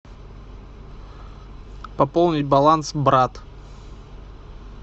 пополнить баланс брат